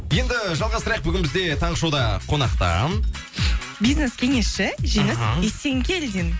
енді жалғастырайық бүгін бізде таңғы шоуда қонақта бизнес кеңесші мхм жеңіс есенгелдин